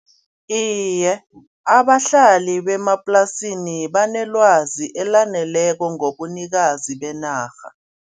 Iye abahlali bemaplasini banelwazi elaneleko ngobunikazi benarha.